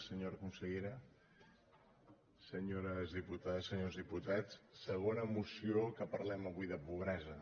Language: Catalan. senyora consellera senyores diputades senyors diputats segona moció en què parlem avui de pobresa